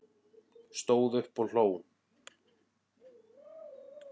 Stóð upp og hló